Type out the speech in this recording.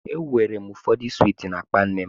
E weere ụfọdụ swiiti na-akpa nne m.